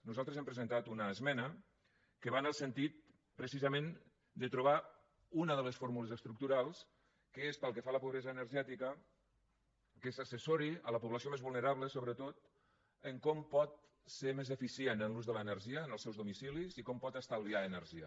nosaltres hem presentat una esmena que va en el sentit precisament de trobar una de les fórmules estructurals que és pel que fa a la pobresa energètica que s’assessori la població més vulnerable sobretot en com pot ser més eficient en l’ús de l’energia en els seus domicilis i com pot estalviar energia